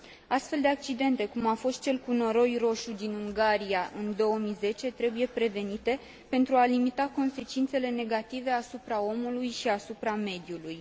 Astfel de accidente, cum a fost cel cu noroi roșu din Ungaria în 2010, trebuie prevenite, pentru a limita consecințele negative asupra omului și asupra mediului.